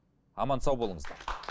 аман сау болыңыздар